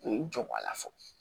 U ye n jɔ ko a la fɔ